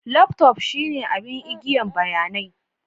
Laftof shine abin agiyan bayanai.